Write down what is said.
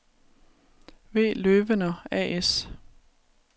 V. Løwener A/S